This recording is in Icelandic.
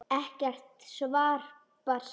Ekkert svar barst.